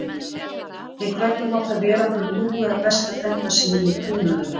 En hvernig má það vera að hann ljúgi að besta frænda sínum og trúnaðarvini?